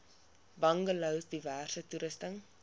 bungalows diverse toerusting